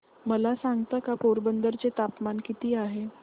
मला सांगता का पोरबंदर चे तापमान किती आहे